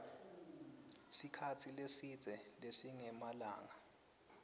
sikhatsi lesidze lesingemalanga